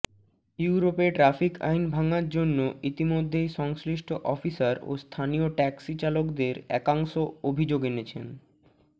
ইউরোপে ট্রাফিক আইন ভাঙার জন্য ইতিমধ্যেই সংশ্লিষ্ট অফিসার ও স্থানীয় ট্যাক্সি চালকদের একাংশ অভিযোগ এনেছেন